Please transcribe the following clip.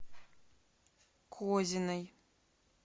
козиной